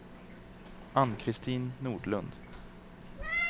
Ann-Kristin Nordlund